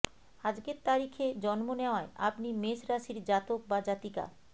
আজকের তারিখে জন্ম নেওয়ায় আপনি মেষ রাশির জাতক বা জাতিকা